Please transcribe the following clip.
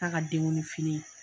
Ta'a ka denkundi fini